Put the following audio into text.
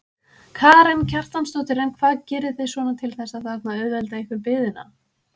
Karen Kjartansdóttir: En hvað gerið þið svona til þess að þarna auðvelda ykkur biðina?